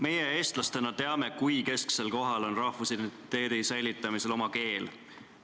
Meie eestlastena teame, kui kesksel kohal rahvusidentiteedi säilitamisel on oma keel.